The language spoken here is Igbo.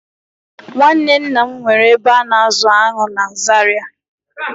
Nwanne nna m nwere ebe a na-azụ aṅụ na Zaria